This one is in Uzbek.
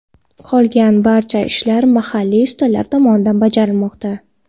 Qolgan barcha ishlar mahalliy ustalar tomonidan bajarilmoqda.